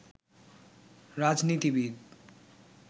রাজনীতিবিদ